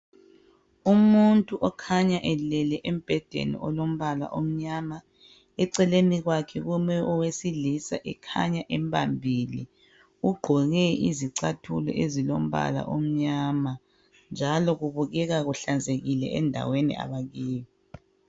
Umuntu okhanya elele embhedeni olombala omnyama. Eceleni kwakhe kume owesilisa ekhanya embambile. Ugqoke izicathulo ezilombala omnyama njalo kubukeka kuhlanzekile endaweni abakiyo.